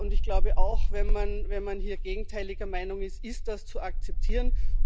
Ich glaube, auch wenn man hier gegenteiliger Meinung ist, ist das zu akzeptieren.